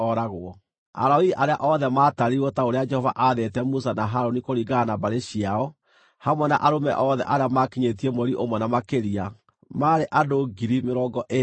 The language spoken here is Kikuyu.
Alawii arĩa othe maatarirwo ta ũrĩa Jehova aathĩte Musa na Harũni kũringana na mbarĩ ciao, hamwe na arũme othe arĩa maakinyĩtie mweri ũmwe na makĩria, maarĩ andũ 22,000.